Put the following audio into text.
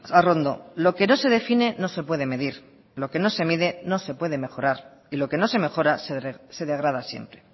arrondo lo que no se define no se puede medir lo que no se mide no se puede mejorar y lo que no se mejora se degrada siempre